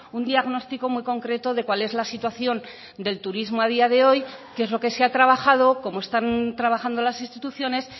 un diagnóstico muy concreto de cuál es la situación del turismo a día de hoy qué es lo que se ha trabajado cómo están trabajando las instituciones